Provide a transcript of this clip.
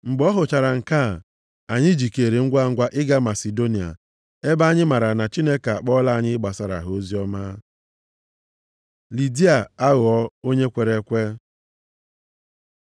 Mgbe ọ hụchara nke a, anyị jikeere ngwangwa ịga Masidonia ebe anyị mara na Chineke akpọọla anyị ịgbasara ha oziọma. Lidia aghọọ onye kwere ekwe